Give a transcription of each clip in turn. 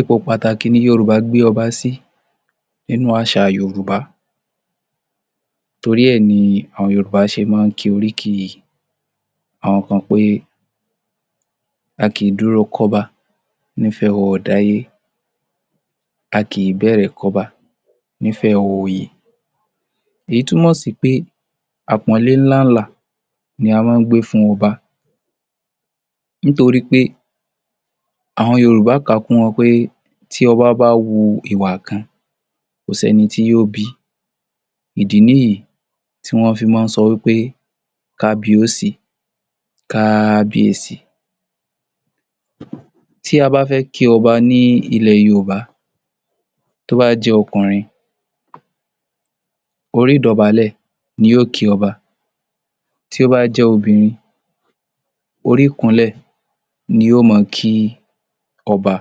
Ipò pàtàkì ni Yorùbá gbé ọba sí nínú àṣà Yorùbá torí ẹ ni àwọn Yorùbá ṣe mọ́ ọn ń ki oríkì àwọn kan pé", a kì í dúró kọ́ba nífẹ̀ ọọ̀dáyé, a kì í bẹ̀rẹ̀ kọ́ba nífẹ̀ oòyè",èyí túmọ̀ sí pé àpọ́nlé làǹlà ni a mọ́ gbé fún ọba nítorí pé àwọn Yorùbá kà á kún wọn pé tí ọba bá hu ìwà kan kò séni tí yóò bí i, ìdí nìyí wọ́n fi mọ́ sọ pé", kábiọ́ọ̀sí", "kábíèsí". Tí a bá fẹ́ ki ọba ní ílẹ̀ Yorùbá tó bá jẹ́ ọkùnrin orí ìdọ̀bálẹ̀ ni yóò kí ọba, tí ó bá jẹ́ obìnrin, orí ìkúnlẹ̀ ni yóò mọ kí ọba,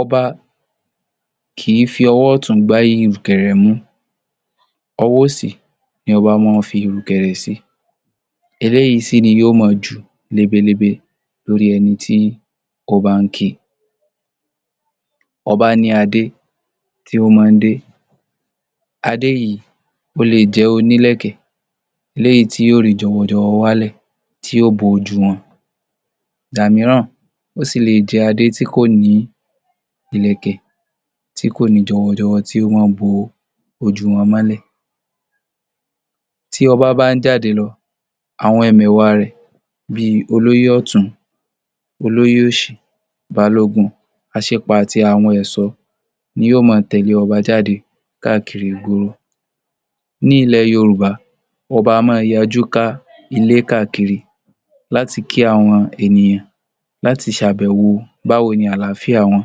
ọba kì í fi ọwọ́ ọ̀tún gbá ìrùkẹ̀rẹ̀ mú, ọwọ́ òsì ni ọba mọ́ ọn ń fi ìrùkẹ̀rẹ̀ sí eléyìí sì ni yóò mọ jù lebelebe lórí ẹni tí ó bá ń kì, ọba ní adé tí ó mọ́ ọn ń dé, adé yìí ó lè jẹ́ onílẹ̀kẹ̀ tí yóò rí jọwọjọwọ wálẹ̀ tí yóò bo ojú wọn, ìgbà mìíràn, ó sì lè jẹ́ adé tí kò ní Ìlẹ̀kẹ̀, tí kò ní jọwọjọwọ tó mọ́ ọn ń bo ojú wọn mọ́lẹ̀. Tí ọba bá ń jáde lọ, àwọn ẹ̀mẹwà rẹ̀ bí olóyè ọ̀tún, olóyè òsì, balógun, aṣípa àti àwọn ẹ̀ṣọ́ ni yóò mọ tẹ̀lé ọba jáde káàkiri ìgboro. Ní ilẹ̀ Yorùbá, ọba a máa yajú ká ilé káàkiri láti kí àwọn ènìyàn láti ṣàbèwò báwo ni àlàáfíà wọn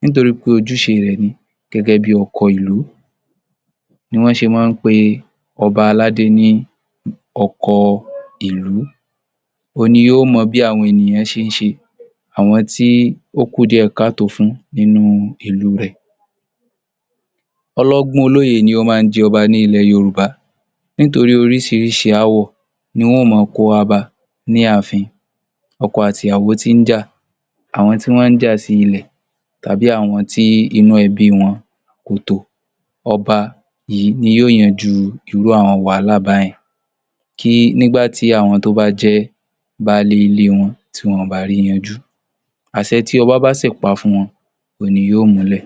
nítorí pé ojúṣe rẹ̀ ni gẹ́gẹ́ bí ọkọ ìlú, ni wọ́n ṣe máa ń pe ọba aládé ní ọkọ ìlú, òun ni yóò mọ bí àwọn ènìyàn ṣe ń ṣe, àwọn tí ó kù díẹ̀ káàtọ́ fún nínú ìlú rẹ̀. Ọlọ́gbọ́n, olóye ni ó máa ń jẹ ọba nílẹ̀ Yorùbá nítorí oríṣiríṣi aáwọ̀ ni wọ́n máa ń kó wá bá a ní ààfin, ọkọ àti ìyàwó tí ń jà, àwọn tí wọ́n ń jà sí ilẹ̀ tàbí àwọn tí inú ẹbí wọn kò tò, ọba yìí ni yóò yanjú irú àwọn wàhálà bá yẹn, kí, nígbà tí àwọn tó bá jẹ́ baálé ilé wọn tí wọn kò bá ri yanjú, àṣẹ tí ọba bá sì pa fún wọn òhun ni yóò múlẹ̀